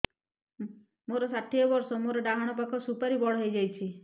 ମୋର ଷାଠିଏ ବର୍ଷ ମୋର ଡାହାଣ ପାଖ ସୁପାରୀ ବଡ ହୈ ଯାଇଛ